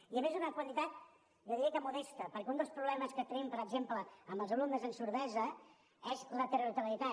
i a més és una quantitat jo diria que modesta perquè un dels problemes que tenim per exemple amb els alumnes amb sordesa és la territorialitat